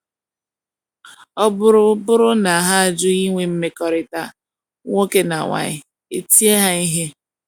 Ọ bụrụ bụrụ na ha ajụ inwe mmekọrịta nwoke na nwanyi, e tie ha ihe.